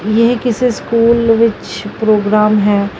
ਯੇਹ ਕਿਸੇ ਸਕੂਲ ਵਿੱਚ ਪ੍ਰੋਗਰਾਮ ਹੈ।